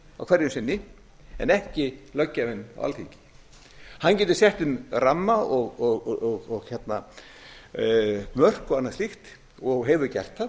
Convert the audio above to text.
hverju sinni en ekki löggjafinn alþingi hann gæti sett ramma mörk og annað slíkt og hefur gert það